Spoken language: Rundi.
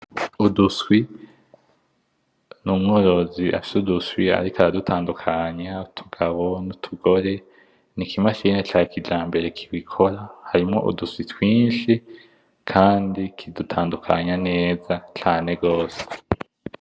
Uduswi, n'umworozi afise uduswi ariko aradutandukanya utugabo nutugore. N'ikimashine ca kijambere kibikora harimwo uduswi twinshi kandi kidutandukanya neza cane gose.